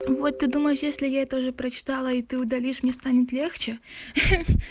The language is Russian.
вот ты думаешь если я это уже прочитала и ты удалишь мне станет легче ха-ха